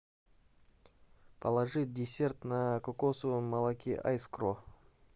положи десерт на кокосовом молоке айскро